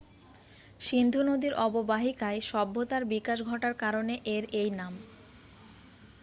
সিন্ধু নদীর অববাহিকায় সভ্যতার বিকাশ ঘটার কারণে এর এই নাম